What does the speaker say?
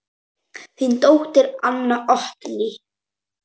Þín dóttir, Anna Oddný.